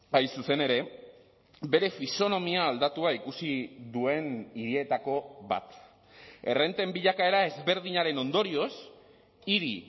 hain zuzen ere bere fisonomia aldatua ikusi duen hirietako bat errenten bilakaera ezberdinaren ondorioz hiri